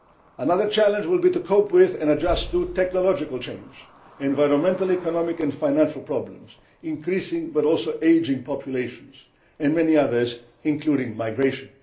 time. Another challenge will be to cope with and adjust to technological change, environmental, economic and financial problems, increasing but also ageing populations, and many others including migration.